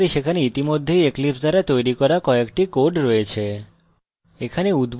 যেমনকি আমরা দেখতে পারি সেখানে ইতিমধ্যেই eclipse দ্বারা তৈরী করা কয়েকটি code রয়েছে